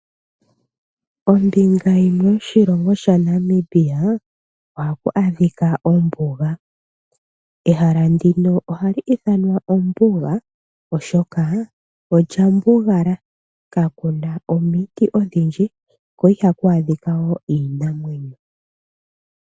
Ombinga yimwe yoshilongo sha Namibia ohaku adhika ombuga. Ehala ndino ohali ithanwa ombuga oshoka olya mbugala kakuna omiti odhindji ko ihaku adhika woo iinamwenyo.